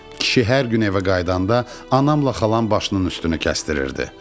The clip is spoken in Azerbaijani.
Kişi hər gün evə qayıdanda anamla xalam başının üstünü kəstirirdi.